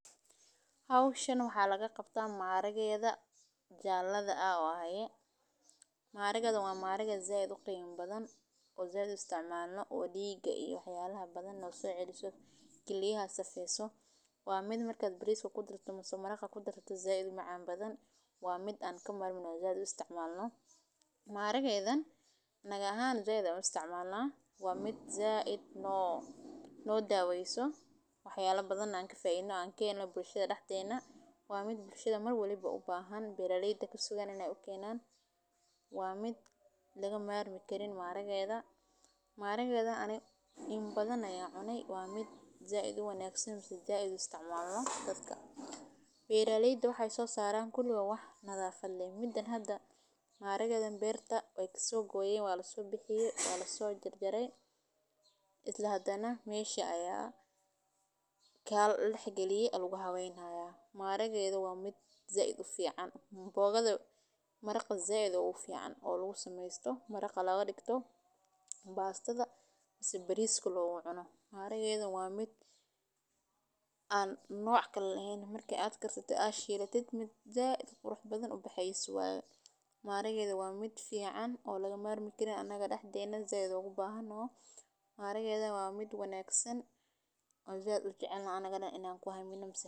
Howshan waxaa laga qabtaa maharageda jaladha ah waye, maharageedan waa maharage said ufican oo diga iyo wax yalaha so celiso kiliyaha sifeyso waa miid marka bariska kudarsato mase maraqa said umacan badan waa mid an ka marmin said an u isticmalno maharagedhan anaga ahan said ayan u isticmalna no daweyso wax yalaha an kahelno bulshaada daxdedha waa mid bulshaada mar walba u bahan oo u kenan waa mid laga marmi karin maharagedhan, maharagedha ani in badan ayan cune waa mid said uwanagsan dadka bera leyda waxee so saran kuli waa wax nadhafaad leh mida hada maharageedan hada beerta ayey kaso goyen waa laso jar jare, maharagedha waa mid said ufican maraqa said ogu fican maraqa loga digto bastadha mase bariska logu cuno maharagedhan waa mid an noc kale lahen marka shilato ama aad shidato si qurux badan oo laga marmi karin anaga daxdena maharagedha waa mid wanagsan oo said an u jecelnahay anaga dan in an ku hamino mase.